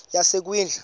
yasekwindla